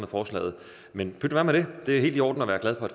forslaget men pyt være med det det er helt i orden at være glad for